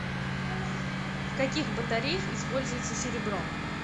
в каких батареях используется серебро